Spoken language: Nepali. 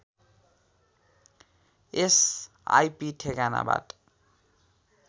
यस आईपी ठेगानाबाट